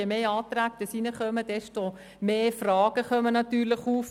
Je mehr Anträge hinzukommen, desto mehr Fragen tauchen natürlich auf.